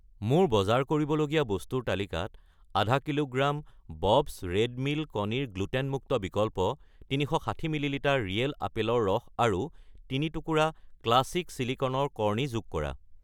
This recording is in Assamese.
মোৰ বজাৰ কৰিবলগীয়া বস্তুৰ তালিকাত 0.5 কিলোগ্ৰাম বব্ছ ৰেড মিল কণীৰ গ্লুটেন মুক্ত বিকল্প , 360 মিলি লিটাৰ ৰিয়েল আপেলৰ ৰস আৰু 3 টুকুৰা ক্লাছিক ছিলিকনৰ কৰ্ণি যোগ কৰা।